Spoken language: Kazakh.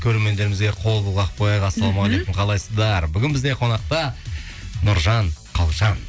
көрермендеріміз қол бұлғап қояйық ассалаумағалейкум қалайсыздар бүгін бізде қонақта нұржан қалжан